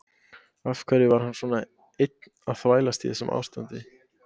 Af hverju var hann svona einn að þvælast í þessu ástandi?